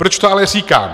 Proč to ale říkám?